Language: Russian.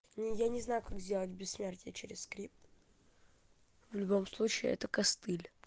ни я не знаю как сделать бессмертие через скрипт в любом случае это костыль